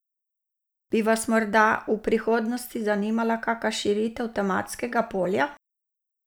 Bi vas morda v prihodnosti zanimala kaka širitev tematskega polja?